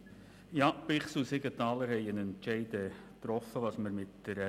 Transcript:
Die Grossräte Bichsel und Siegenthaler haben ihren Entscheid gefällt.